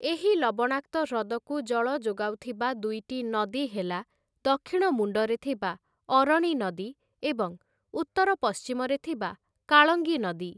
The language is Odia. ଏହି ଲବଣାକ୍ତ ହ୍ରଦ‌କୁ ଜଳ ଯୋଗାଉଥିବା ଦୁଇଟି ନଦୀ ହେଲା ଦକ୍ଷିଣ ମୁଣ୍ଡରେ ଥିବା ଅରଣି ନଦୀ ଏବଂ ଉତ୍ତର ପଶ୍ଚିମରେ ଥିବା କାଳଙ୍ଗି ନଦୀ ।